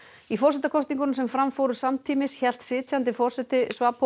í forsetakosningunum sem fram fóru samtímis hélt sitjandi forseti